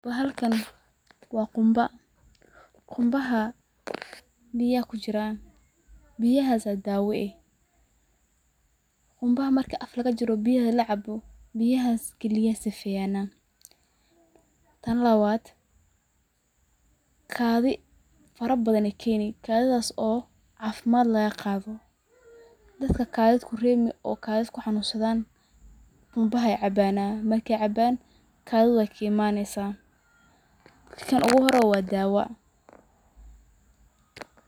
Bahalkan waa qunba. Qunbaha biya ayaa kujiraan biyahaas yaa daawa eh . qunbaha marka afka lagajara biyaha lacabo biyahas kiliyaha ayee sifeeyan. Tan labaad kaadhi farabadha yeey keni kaadhidhaas oo caafimad lagaqaadho. Dadka kaadhid kureebmi oo kuxanunnsadhan qunbaha yeey cabaana marka ey cabaan kadhidha wey kaimaneysa, kan uguhore waa daawa.